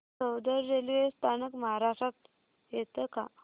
Soundad railway स्थानक महाराष्ट्रात येतं का